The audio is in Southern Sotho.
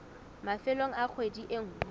mafelong a kgwedi e nngwe